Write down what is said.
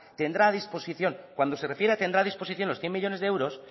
tendrá a disposición cuando se refiere a tendrá a disposición los ehun millónes de euros